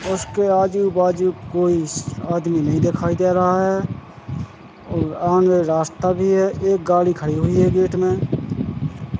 उसके आजू बाजू कोई आदमी नहीं देखाई दे रहा है और आगे रास्ता भी है एक गाड़ी खड़ी हुई है गेट में।